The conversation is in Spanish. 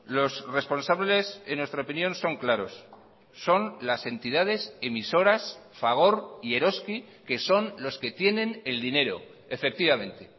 los responsables en nuestra opinión son claros son las entidades emisoras fagor y eroski que son los que tienen el dinero efectivamente